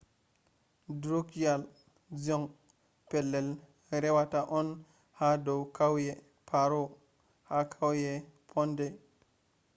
drukgyal dzong pelell rewataa on haa dow kauyee paro ha kauye phondey